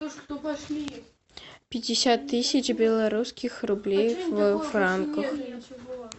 пятьдесят тысяч белорусских рублей в франках